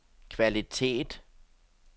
kvalitet